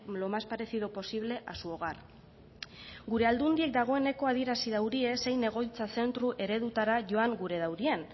lo más parecido posible a su hogar gure aldundiek dagoeneko adierazi durie zein egoitza zentru eredutara joan gure daurien